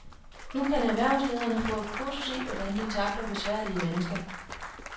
Nu kan erhvervsledere få et kursus i, hvordan de tackler besværlige mennesker.